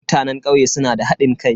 Mutanen kauye suna da hadin kai.